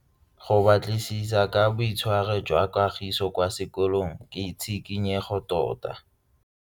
Go batlisisa ka boitshwaro jwa Kagiso kwa sekolong ke tshikinyego tota.